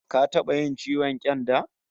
Ka taba yin ciwon ƙyanda?